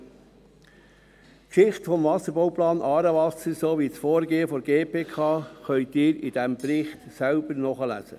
Die Geschichte des Wasserbauplans «Aarewasser» sowie das Vorgehen der GPK können Sie in diesem Bericht selber nachlesen.